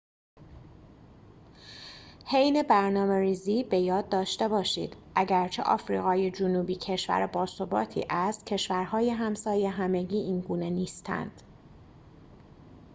حین برنامه‌ریزی به یاد داشته باشید اگرچه آفریقای جنوبی کشور باثباتی است کشورهای همسایه همگی اینگونه نیستند